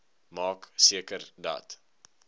maak seker dat